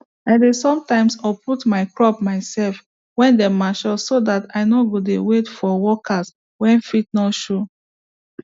i dey some time uproot my crop mysef wen dem mature so dat i nor go de wait for workers wey fit nor show